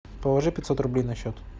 положи пятьсот рублей на счет